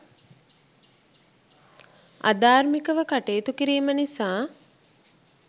අධාර්මිකව කටයුතු කිරීම නිසා